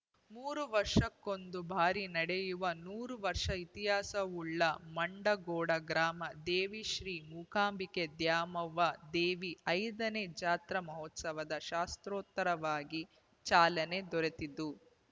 ಮೂರು ವರ್ಷಕ್ಕೊಂದು ಬಾರಿ ನಡೆಯುವ ನೂರಾರು ವರ್ಷ ಇತಿಹಾಸವುಳ್ಳ ಮುಂಡಗೋಡ ಗ್ರಾಮ ದೇವಿ ಶ್ರೀ ರಿಕಾಂಬಾದ್ಯಾಮವ್ವ ದೇವಿಯ ಐದನೇ ಜಾತ್ರಾ ಮಹೋತ್ಸವ ಶಾಸ್ತ್ರೋತ್ತರವಾಗಿ ಚಾಲನೆ ದೊರೆತಿದ್ದು